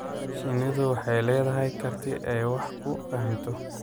Shinnidu waxay leedahay karti ay wax ku fahmto.